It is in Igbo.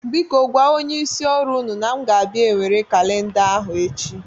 Biko gwa onyeisi ọrụ ụnụ na aga m abịa nwere kalinda ahụ echi.